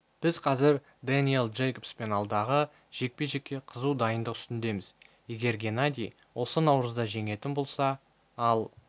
біз қазір дэниэл джейкобспен алдағы жекпе-жекке қызу дайындық үстіндеміз егер геннадий оны наурызда жеңетін болса ал